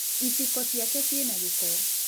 Iciko ciake ciĩna gĩko.